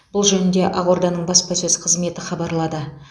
бұл жөнінде ақорданың баспасөз қызметі хабарлады